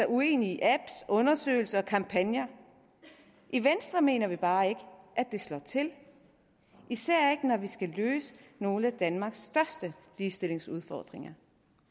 uenig i apps undersøgelser og kampagner i venstre mener vi bare ikke at det slår til især ikke når vi skal løse nogle af danmarks største ligestillingsudfordringer